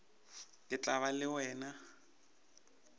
ke tla ba le wena